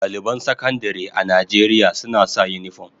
Daliban Sakandare a Najeriya suna sa unifom.